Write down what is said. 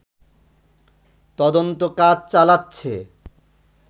তদন্তকাজ চালাচ্ছে